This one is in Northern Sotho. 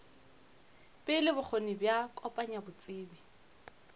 pele bokgoni bja kopanya botsebi